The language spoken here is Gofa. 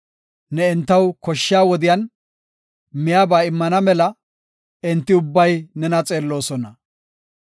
Ne entaw koshshiya wodiyan miyaba immana mela, enti ubbay nena xeelloosona.